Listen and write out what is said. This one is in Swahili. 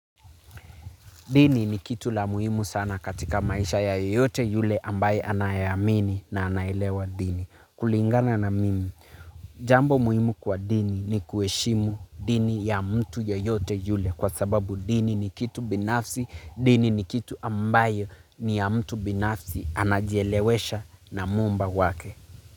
Dini ni kitu la muhimu sana katika maisha ya yote yule ambaye anayamini na anayilewa dini. Kulingana na mimi, jambo muhimu kwa dini ni kuheshimu dini ya mtu yeyote yule kwa sababu dini ni kitu binafsi, dini ni kitu ambayo ni ya mtu binafsi anajielewesha na mumba wake.